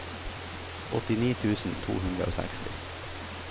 åttini tusen to hundre og seksti